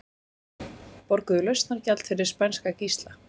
Borguðu lausnargjald fyrir spænska gísla